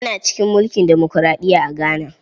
Ana cikin mulkin demokuraɗiya a Ghana.